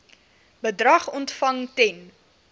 bedrag ontvang ten